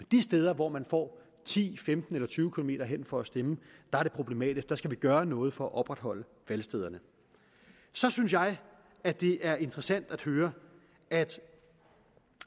de steder hvor man får ti femten eller tyve km hen for at stemme er det problematisk og der skal vi gøre noget for at opretholde valgstederne så synes jeg at det er interessant at høre at